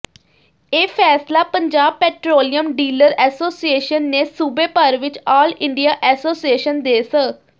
ਇਹ ਫੈਸਲਾ Punjab petroleum dealer association ਨੇ ਸੂਬੇ ਭਰ ਵਿਚ ਆਲ ਇੰਡੀਆ ਐਸੋਸੀਏਸ਼ਨ ਦੇ ਸ